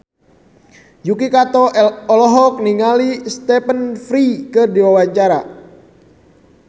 Yuki Kato olohok ningali Stephen Fry keur diwawancara